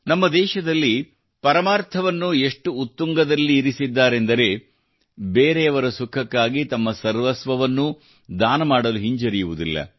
ನಮ್ಮ ದೇಶದಲ್ಲಿ ಪರಮಾರ್ಥವನ್ನು ಎಷ್ಟು ಉತ್ತುಂಗದಲ್ಲಿರಿಸಿದ್ದಾರೆಂದರೆ ಬೇರೆಯವರ ಸುಖಕ್ಕಾಗಿ ತಮ್ಮ ಸರ್ವಸ್ವವನ್ನೂ ದಾನ ಮಾಡಲು ಹಿಂಜರಿಯುವುದಿಲ್ಲ